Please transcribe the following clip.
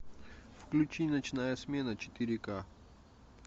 включи ночная смена четыре ка